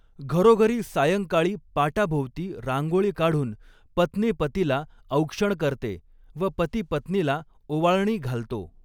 घरोघरी सायंकाळी पाटाभोवती रांगोळी काढून पत्नी पतीला औक्षण करते व पती पत्नीला ऒवाळणी घालतो.